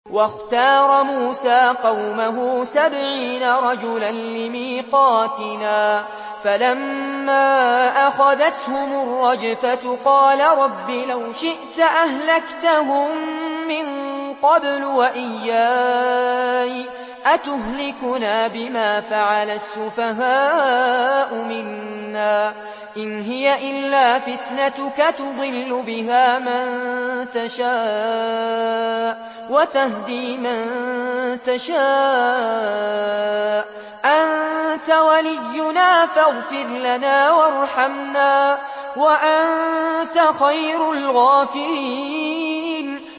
وَاخْتَارَ مُوسَىٰ قَوْمَهُ سَبْعِينَ رَجُلًا لِّمِيقَاتِنَا ۖ فَلَمَّا أَخَذَتْهُمُ الرَّجْفَةُ قَالَ رَبِّ لَوْ شِئْتَ أَهْلَكْتَهُم مِّن قَبْلُ وَإِيَّايَ ۖ أَتُهْلِكُنَا بِمَا فَعَلَ السُّفَهَاءُ مِنَّا ۖ إِنْ هِيَ إِلَّا فِتْنَتُكَ تُضِلُّ بِهَا مَن تَشَاءُ وَتَهْدِي مَن تَشَاءُ ۖ أَنتَ وَلِيُّنَا فَاغْفِرْ لَنَا وَارْحَمْنَا ۖ وَأَنتَ خَيْرُ الْغَافِرِينَ